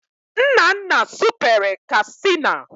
Nnanna supere Kastịna